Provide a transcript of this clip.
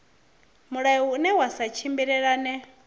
mulayo une wa sa tshimbilelane